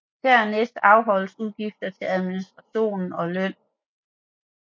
Dernæst afholdes udgifter til administration og løn